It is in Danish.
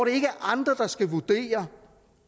ikke andre der skal vurdere